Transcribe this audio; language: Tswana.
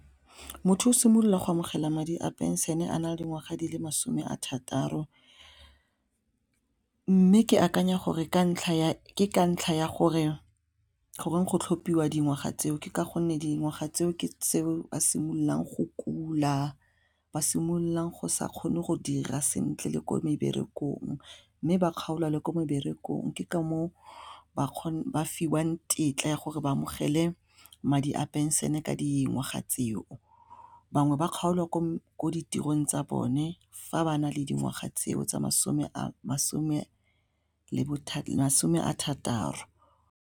Motho o simolola go amogela madi a pension a na le dingwaga di le masome a thataro mme ke akanya gore ke ka ntlha ya gore goreng go tlhophiwa dingwaga tseo ka gonne dingwaga tseo ke seo a simololang go kula ba simololang go sa kgone go dira sentle le ko meberekong mme ba kgaolwa le ko meberekong ke ka moo ba kgone ba fiwang tetla ya gore ba amogele madi a pension ka dingwaga tseo, mangwe ba kgaolwa ko ko ditirong tsa bone fa ba na le dingwaga tseo tsa masome a thataro.